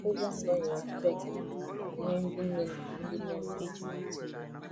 akwụkwo ndọ nyere ọtụtụ ekele maka nke a nyere ndi nne na na ndi nne nne n'ahụ n'anya